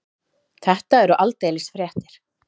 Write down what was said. Þetta eru aldeilis fréttir.